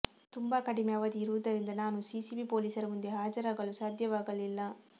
ತುಂಬಾ ಕಡಿಮೆ ಅವಧಿ ಇರುವುದರಿಂದ ನಾನು ಸಿಸಿಬಿ ಪೊಲೀಸರ ಮುಂದೆ ಹಾಜರಾಗಲು ಸಾಧ್ಯವಾಗಲಿಲ್ಲ